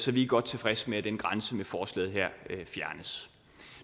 vi er godt tilfredse med at den grænse med forslaget her fjernes